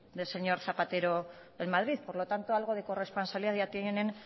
del señor zapatero en madrid por lo tanto algo de corresponsabilidad ya tienen